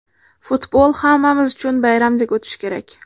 Futbol hammamiz uchun bayramdek o‘tishi kerak.